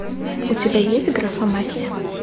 у тебя есть графа мафия